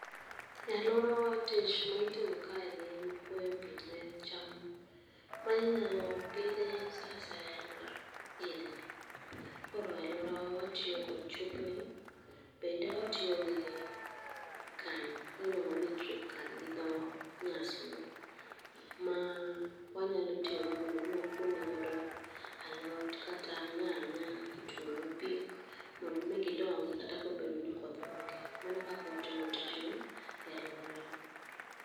E aluorawa tich ma itimo kaeni en kuoyo pi ne cham ma inyalo pidhi saa asaya mar higa koro aluorawa watiyo kod chup ni bende watiyo gi can miluongo ni drip can gi dho nyasungu ma wanyalo tiyogo mondo m,i wakuo nego alot kata nyanya pi mondo mi gidongi kata ka koth onge. Mano e kaka watimo tijno e aluorawa.